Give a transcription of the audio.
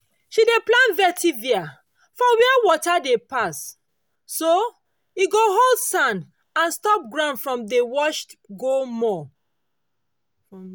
she dey plant vetiver for where water dey pass so e go hold sand and stop ground from dey wash go more.